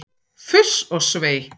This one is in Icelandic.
Fuss og svei!